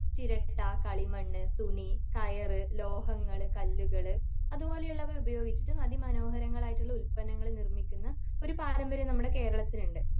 ചിരട്ട കളിമണ്ണ് തുണി കയറ് ലോഹങ്ങള് കല്ലുകള് അതുപോലെയുവുള്ളവ ഉപയോഗിച്ചിട്ടും അതി മോനോഹരങ്ങളായിട്ടുള്ള ഉല്പന്നങ്ങള് നിർമിക്കുന്ന ഒരു പാരമ്പര്യം നമ്മുടെ കേരളത്തിനുണ്ട്